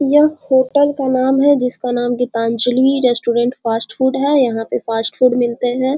यह होटल का नाम है जिसका नाम है गीतांजलि रेस्टुरेंट फास्ट फूड है यहाँ पे फास्ट फूड मिलते है।